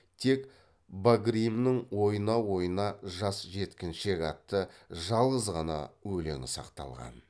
тек багримнің ойна ойна жас жеткіншек атты жалғыз ғана өлеңі сақталған